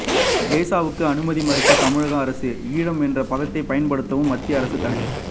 டெசோவுக்கு அனுமதி மறுத்தது தமிழக அரசு ஈழம் என்ற பதத்தைப் பயன்படுத்தவும் மத்திய அரசு தடை